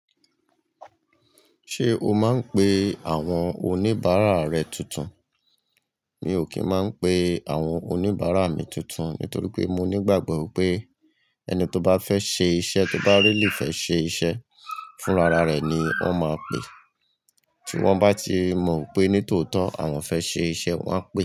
Ṣé o máa ń pe àwọn oníbàárà rẹ tuntun? Mi ò kì í máa ń pe àwọn oníbàárà mi tuntun nítorí pé mo ní ìgbàgbọ́ pé ẹni tó bá fẹ́ ṣe iṣẹ́, tó bá really fẹ́ ṣe iṣẹ́ fún ara rẹ̀ ni o máa pè. Tí wọ́n bá ti mọ̀ pé nítòótọ́ àwọn fẹ́ ṣe iṣẹ́, wọ́n á pè é.